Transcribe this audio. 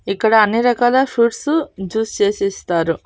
ఇక్కడ అన్ని రకాల ఫ్రూట్స్ జ్యూస్ చేసిస్తారు.